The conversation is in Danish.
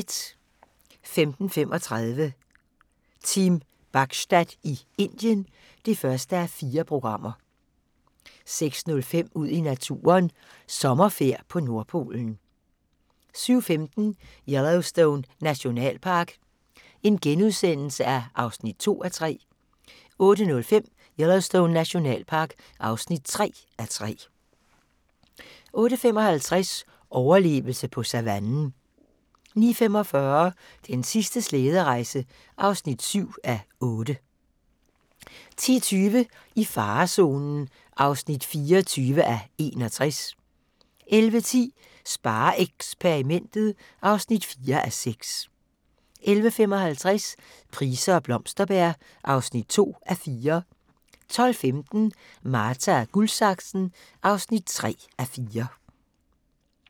05:35: Team Bachstad i Indien (1:4) 06:05: Ud i naturen: Sommerfærd på Nordpolen 07:15: Yellowstone Nationalpark (2:3)* 08:05: Yellowstone Nationalpark (3:3) 08:55: Overlevelse på savannen 09:45: Den sidste slæderejse (7:8) 10:20: I farezonen (24:61) 11:10: SpareXperimentet (4:6) 11:55: Price og Blomsterberg (2:4) 12:15: Marta & Guldsaksen (3:4)